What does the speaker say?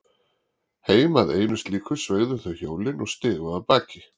Heim að einu slíku sveigðu þau hjólin og stigu af baki.